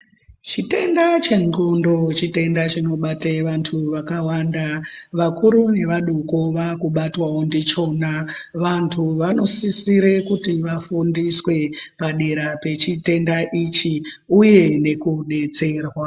Chitenda chedxondo, chitenda chinobata vantu vakawanda. Vakuru nevadoko, vakubatwawo ngechona. Vantu vanosisire kuti vafundiswe padera pechitenda ichi, uye nekudetserwa.